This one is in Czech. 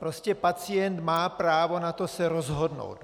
Prostě pacient má právo na to se rozhodnout.